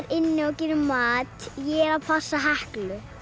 inni og gerir mat ég er að passa Heklu